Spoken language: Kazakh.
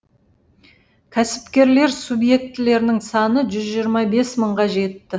кәсіпкерлер субъектілерінің саны жүз жиырма бес мыңға жетті